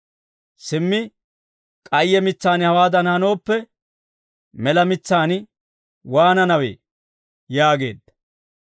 Simmi k'ayye mitsaan hawaadan hanooppe, mela mitsaan waananawee?» yaageedda.